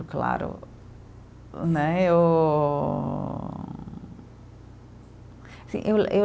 Claro, né, eu, sim eu eu